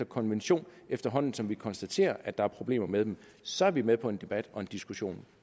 konvention efterhånden som vi konstaterer at der er problemer med dem så er vi med på en debat og en diskussion